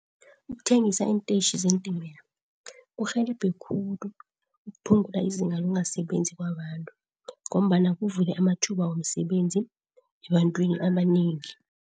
Ukuthengisa iintetjhi zeentimela kurhelebha khulu ukuphungula izinga lokungasebenzi kwabantu ngombana kuvulwe amathuba womsebenzi ebantwini abanengi.